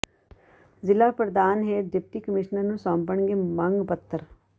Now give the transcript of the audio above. ਜਿਲ੍ਹਾ ਪ੍ਰਧਾਨ ਹੇਰ ਡਿਪਟੀ ਕਮਿਸ਼ਨਰ ਨੂੰ ਸੌਂਪਣਗੇ ਮੰਗ ਪੱਤਰ